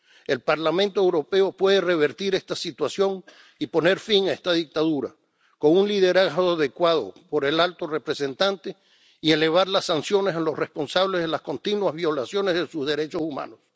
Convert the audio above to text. El Parlamento Europeo puede revertir esta situación y poner fin a esta dictadura con un liderazgo adecuado por parte del alto representante, y elevar las sanciones a los responsables de las continuas violaciones de los derechos humanos.